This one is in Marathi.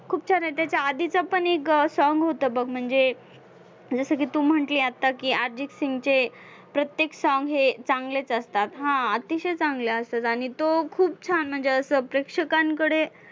खूप छान आहे त्याच्या आधीचा पण एक song होतं बघ म्हणजे जसं की तू म्हंटली आत्ता की अर्जितसिंगचे प्रत्येक song हे चांगलेच असतात. हा, अतिशय चांगले असतात आणि तो खूप छान म्हणजे असं प्रेक्षकांकडे